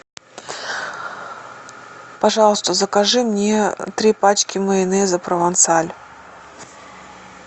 пожалуйста закажи мне три пачки майонеза провансаль